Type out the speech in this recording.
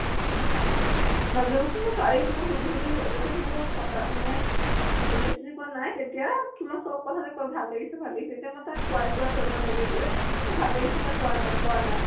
নাজামিন কিন্তু তাইক সুধি সুধি যেতিয়া মই পতা মানে relationship ত নাই তেতিয়া কিমা চব কথা তে কয় ভাল লাগিছে ভাল লাগিছে। এতিয়া মই তাক কোৱাই কোৱাই কোৱাব লাগে যে মোক ভাল লাগিছে নে কোৱানা কোৱানা ।